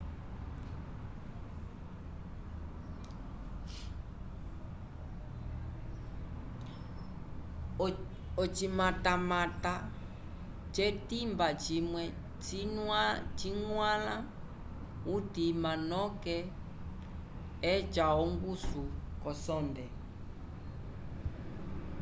ocimatamata ce timba cimwe ci nuala utima noke eca onguso ko sonde